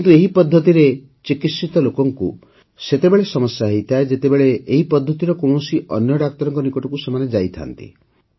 କିନ୍ତୁ ଏହି ପଦ୍ଧତିରେ ଚିକିତ୍ସିତ ଲୋକଙ୍କୁ ସେତେବେଳେ ସମସ୍ୟା ହୋଇଥାଏ ଯେତେବେଳେ ଏହି ପଦ୍ଧତିର କୌଣସି ଅନ୍ୟ ଡାକ୍ତରଙ୍କ ନିକଟକୁ ସେମାନେ ଯାଇଥାନ୍ତି